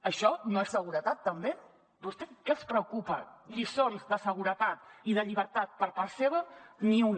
això no és seguretat també a vostès què els preocupa lliçons de seguretat i de llibertat per part seva ni una